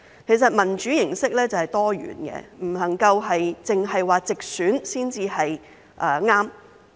其實，民主形式是多元的，不能夠只說直選才是正確。